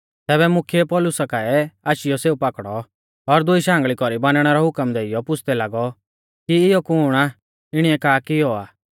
तैबै मुख्यै पौलुसा काऐ आशीयौ सेऊ पाकड़ौ और दुई शांगल़ी कौरी बानणै रौ हुकम देइयौ पुछ़दै लागौ कि इयौ कुण आ और इणीऐ का कियौ आ